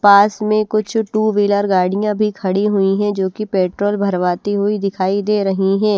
पास में कुछ two wheeler गाड़ियाँ भी खड़ी हुई हैं जो कि पेट्रोल भरवाती हुई दिखाई दे रही हैं।